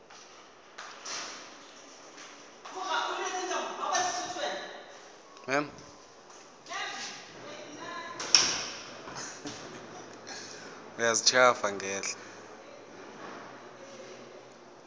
tsona ga di a tshwanela